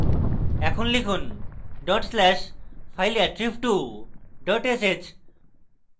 এখন লিখুন dot slash fileattrib2 dot sh